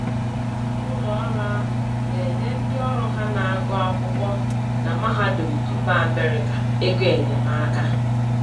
Ụlọọrụ ahụ na-enye ndịọrụ ha na-agụ akwụkwọ na mahadum mba Amerika egoenyemaka.